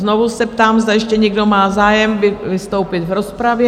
Znovu se ptám, zda ještě někdo má zájem vystoupit v rozpravě?